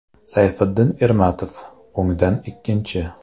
Sayfiddin Ermatov (o‘ngdan ikkinchi).